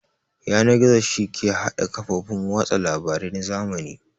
Yanar-gizo shi yake hada ƙafofin watsa labare na zamani